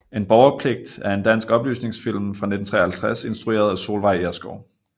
En borgerpligt er en dansk oplysningsfilm fra 1953 instrueret af Solveig Ersgaard